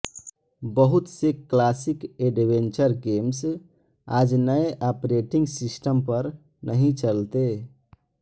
बहुत से classic adventure games आज नए आपरेटिंग सिस्टम पर नही चलते